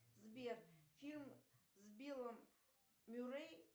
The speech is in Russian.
сбер фильм с биллом мюррей